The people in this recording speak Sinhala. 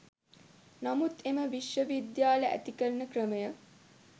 නමුත් එම විශ්ව විද්‍යාල ඇති කරන ක්‍රමය